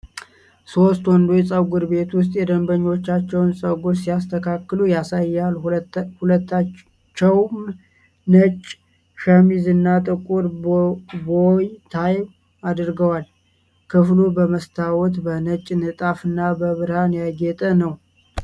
ሶስት ወንዶች ፀጉር ቤት ውስጥ የደንበኞቻቸውን ፀጉር ሲስተካክሉ ያሳያል፤ ሁላቸውም ነጭ ሸሚዝ እና ጥቁር ቦው-ታይ አድርገዋል። ክፍሉ በመስታወት፣ በነጭ ንጣፍ እና በብርሃን ያጌጠ ነው?